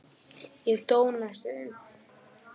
Ég dó næstum því.